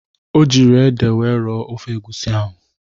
O jiri ede wee rọọ ofe egwusi ahụ.